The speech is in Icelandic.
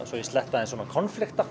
svo ég sletti